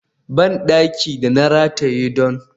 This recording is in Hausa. bandaki da yana rataye don